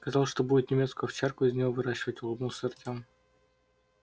сказал что будет немецкую овчарку из него выращивать улыбнулся артём